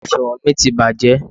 Òsùwọ́n mi ti bàjẹ́.